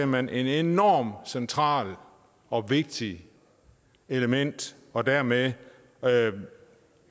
man et enormt centralt og vigtigt element og dermed